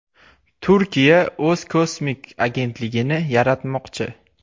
Turkiya o‘z kosmik agentligini yaratmoqchi.